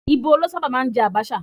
Íbò ló sábà máa ń jẹ àbàchà